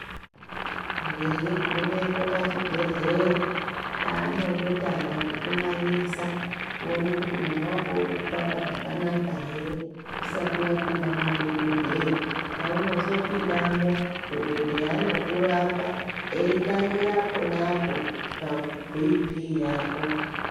Veigumepo pachibhedhleya chaanondotanga kukunangisa kuona kuti moyo vako urikupamba zvakanaka ere. usati vapinda madhogodheya. Pauno zopindamo dhogodheya anokurapa eitangira ponapo pabp yako.